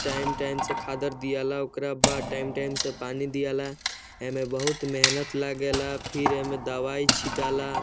Time - time से खाद अर दियाला ओकरा बाद टाइम - टाइम से पानी दियाला ऐमें बहुत मेहनत लागेला फिर ऐमें दवाई छिटाला।